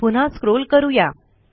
पुन्हा स्क्रॉल करू या